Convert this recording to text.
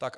Tak.